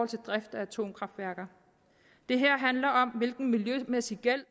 til driften af atomkraftværker det her handler om hvilken miljømæssig gæld